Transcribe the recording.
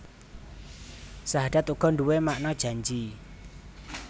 Sahadat uga nduwé makna janji